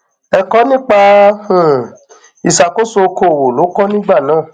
ẹkọ nípa um ìṣàkóso okòòwò ló kọ nígbà náà